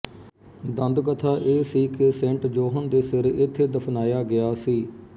ਦੰਦਕਥਾ ਇਹ ਸੀ ਕਿ ਸੇਂਟ ਜੌਹਨ ਦੇ ਸਿਰ ਇਥੇ ਦਫ਼ਨਾਇਆ ਗਿਆ ਸੀ